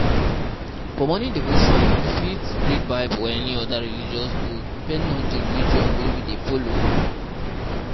For morning devotion we fit read bible or any oda religious book, depending on di religion wey we dey follow